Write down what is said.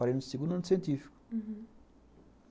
Parei no segundo ano de científico. Uhum.